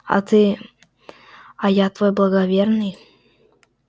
а ты а я твой благоверный